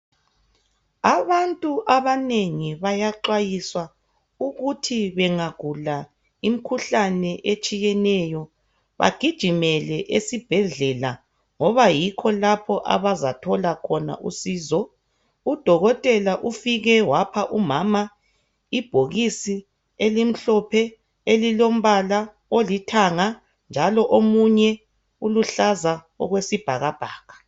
Abantu abanengi bayaxwayiswa ukuthi bengagula imkhuhlane etshiyeneyo bagijimele esibhedlela ngoba yikho lapha abazathola khona usizo udokotela ufike wapha umama ibhokisi elimhlophe elilombala olithanga njalo omunye uluhlaza okwesibhakabhaka.